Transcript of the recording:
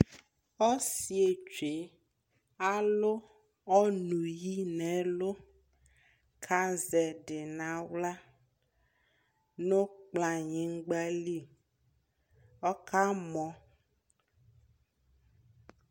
ɔsiiɛ twɛ alʋ ɔnʋ yi nʋ ɛlʋkʋazɛ ɛdi nʋ ala nʋ kplayingba li, ɔka mɔ